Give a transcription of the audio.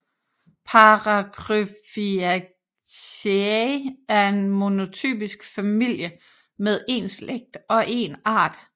Paracryphiaceae er en monotypisk familie med én slægt og én art